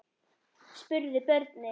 spurðu börnin.